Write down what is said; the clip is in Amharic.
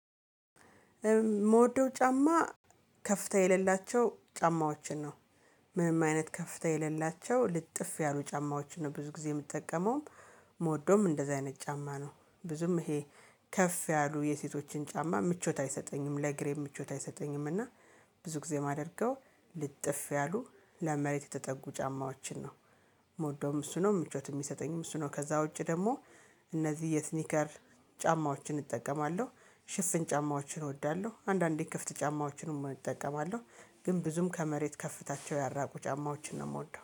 ምወደው ጫማ ከፍታ የሌላቸው ጫማዎችን ነው። ምንም አይነት ከፍታ የሌላቸው ልጥፍ ያሉ ጫማዎችን ብዙ ጊዜ የምትጠቀመውም። የምወደውም እንደዚህ አይነት ጫማ ነው ብዙም ይሄ ከፍ ያሉ የሴቶችን ጫማ ምቾት አይሰጠኝም ለእግሬ ምቾት አይሰጠኝም። እና ብዙ ጊዜ የማደርገው ልጥፍ ያሉ ለመሬት የተጠጉ ጫማዎችን ነው። የምወደውም እሱ ነው ምቾትም የሚሰጠኝም እሱ ነው። ከዛ ውጪ ደግሞ እነዚህ የሲኒከር ጫማዎችን እጠቀማለሁ። ሽፍን ጫማዎችን እወዳለሁ። አንዳንዴ ክፍት ጫማዎችንም እጠቀማለሁ። ግን ብዙም ከመሬት ከፍታቸው ያልራቁ ጫማዎችን ነው የምወደው